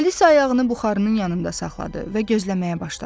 Alisa ayağını buxarının yanında saxladı və gözləməyə başladı.